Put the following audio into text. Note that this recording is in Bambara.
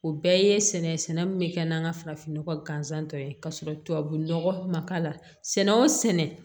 O bɛɛ ye sɛnɛ min bɛ kɛ n'an ka farafinnɔgɔ ganzan ye ka sɔrɔ tubabu nɔgɔ ma k'a la sɛnɛ o sɛnɛ